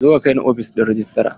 Zo ka kaini ofishin rejistra!